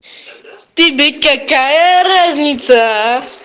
тебе какая разница